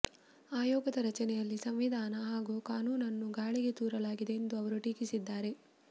ಆಯೋಗದ ರಚನೆಯಲ್ಲಿ ಸಂವಿಧಾನ ಹಾಗೂ ಕಾನೂನನ್ನು ಗಾಳಿಗೆ ತೂರಲಾಗಿದೆ ಎಂದು ಅವರು ಟೀಕಿಸಿದ್ದಾರೆ